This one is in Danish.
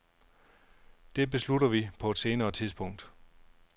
Det beslutter vi på et senere tidspunkt.